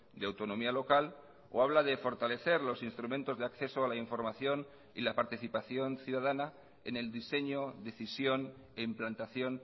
de autonomía local o habla de fortalecer los instrumentos de acceso a la información y la participación ciudadana en el diseño decisión e implantación